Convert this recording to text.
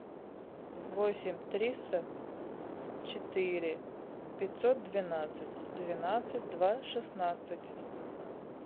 восемь триста четыре пятьсот двенадцать двенадцать два шестнадцать